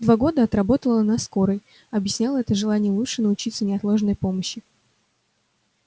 два года отработала на скорой объясняла это желанием лучше научиться неотложной помощи